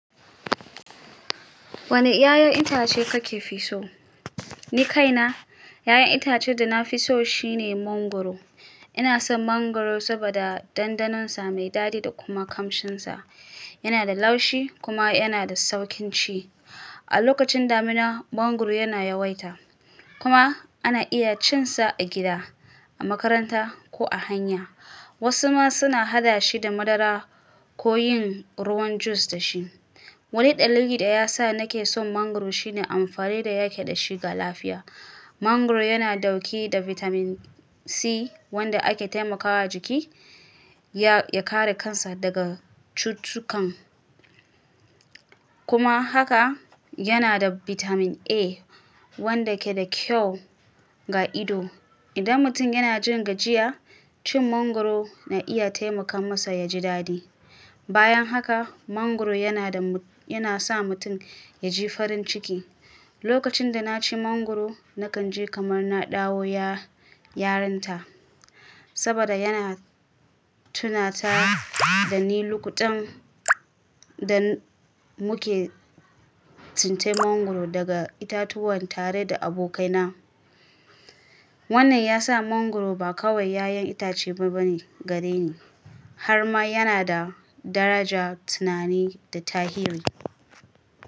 Wane 'ya'yan itace kake fi so? Ni kaina, 'ya'yan itacen da na fi so shine mangwaro. Ina son mangwaro saboda dandanon sa mai dadi da kuma kamshinsa. Yana da laushi kuma yana da sauƙin ci. A lokacin damina, mangwaro yana yawaita kuma ana iya cin sa a gida, a makaranta ko a hanya. Wasu ma suna haɗa shi da madara ko yin ruwan jus da shi. Wani dalili daya ya sa nake son mangwaro shine amfani da yake da shi ga lafiya. Mangwaro yana dauke da vitamin C wanda ake taimakawa jiki ya kare kansa daga cutukan. Kuma haka yana da bitamin A wanda ke da kyau ga ido. Idan mutum yana jin gajiya, cin mangwaro na iya taimaka masa ya ji daɗi. Bayan haka mangwaro yana sa mutum ya ji farin ciki. Lokacin da na ci mangwaro, na kan ji kamar na dawo yarinta saboda yana tunata da ni lokutan da muke tsince mangwaro daga itatuwan tare da abokaina. Wannan ya sa mangwaro ba kawai 'ya'yan itace bane gare ni, har ma yana da daraja, tunani da tahiri.